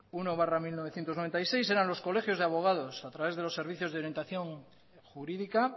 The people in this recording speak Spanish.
uno barra mil novecientos noventa y seis eran los colegios de abogados o a través de los servicios de orientación jurídica